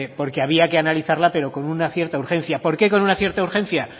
porque había que analizarla pero con una cierta urgencia por qué con una cierta urgencia